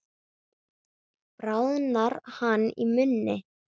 Bráðnar hann í munni?